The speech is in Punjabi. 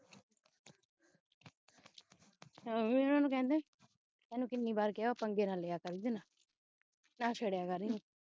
mummy ਉਹਨੂੰ ਕਹਿੰਦੀ ਤੈਨੂੰ ਕਿੰਨੀ ਵਾਰ ਕਿਹਾ ਹੈ ਪੰਗੇ ਨਾ ਲਿਆ ਕਰ ਉਹਦੇ ਨਾਲ ਨਾ ਛੇੜਿਆ ਕਰ ਏਹਨੂੰ